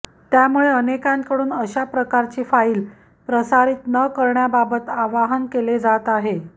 त्यामुळे अनेकांकडून अशाप्रकारची फाइल प्रसारित न करण्याबाबत आवाहन केले जात आहे